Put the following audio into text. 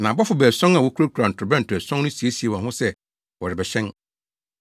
Na abɔfo baason a wokurakura ntorobɛnto ason no siesiee wɔn ho sɛ wɔrebɛhyɛn.